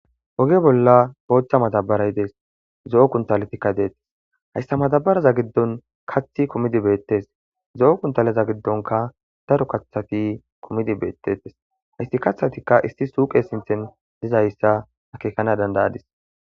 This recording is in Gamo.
woge bolla boochcha matabaray dees zo7o kuntaletikka deettes hayssa matabaraza giddon kathi kumidi beettes zo7o kuntaleza giddonka daro kaththati kumidi beettetes haysti kathatikka isti suuqe sinthen dizayssa akeekana dandayadis